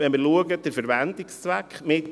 Wenn wir den Verwendungszweck anschauen: